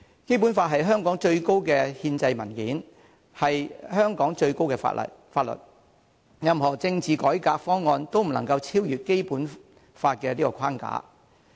《基本法》是香港最高的憲制文件，是香港最高的法律，任何政治改革方案都不能超越《基本法》的框架。